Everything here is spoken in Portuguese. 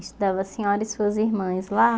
Estudavam a senhora e suas irmãs lá?